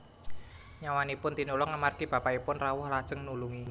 Nyawanipun tinulung amargi bapakipun rawuh lajeng nulungi